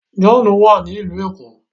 John wá ní ilú ẹko.